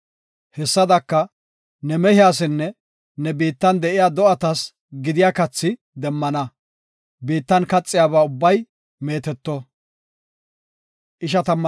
Hessadaka, ne mehiyasinne ne biittan de7iya do7atas gidiya kathi demmana; biittan kaxiyaba ubbay meeteto.